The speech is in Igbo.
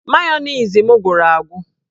Mayonezi m gwụrụ agwụ